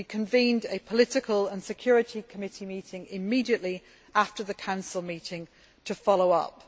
We convened a Political and Security Committee meeting immediately after the Council meeting to follow up.